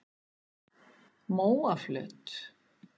Móaflöt